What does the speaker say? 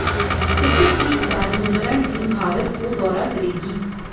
इसके ठीक बाद न्यूजीलैंड टीम भारत को दौरा करेगी